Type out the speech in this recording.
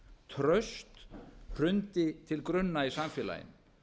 traust hrundi til grunna í samfélaginu